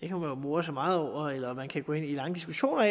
jo more sig meget over eller man kan gå ind i lange diskussioner